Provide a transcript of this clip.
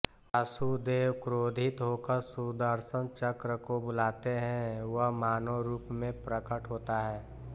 वासुदेव क्रोधित होकर सुदर्शन चक्र को बुलाते हैं वह मानव रूप में प्रकट होता है